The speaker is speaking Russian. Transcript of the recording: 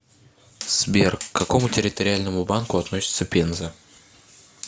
сбер к какому территориальному банку относится пенза